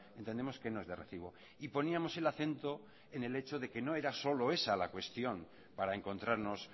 entendemos que no es de recibo y poníamos el acento en el hecho de que no era solo esa la cuestión para encontrarnos